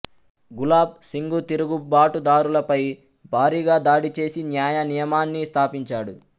గులాబ్ సింగ్ తిరుగుబాటుదారులపై భారీగా దాడిచేసి న్యాయ నియమాన్ని స్థాపించాడు